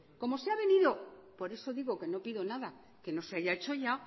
como se ha venido por eso digo que no pido nada que nos haya hecho ya